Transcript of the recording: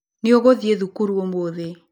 Nĩũgũthiĩ thukuru ũmũthĩ.